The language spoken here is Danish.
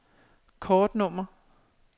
kortnummer